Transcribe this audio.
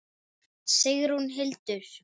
Notaður og á útsölu